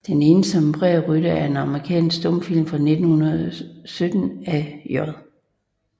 Den ensomme Prærierytter er en amerikansk stumfilm fra 1919 af J